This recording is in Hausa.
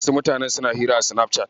Wasu mutanen suna hira a Sinafcat.